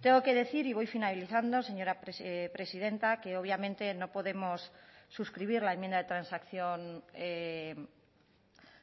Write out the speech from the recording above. tengo que decir y voy finalizando señora presidenta que obviamente no podemos suscribir la enmienda de transacción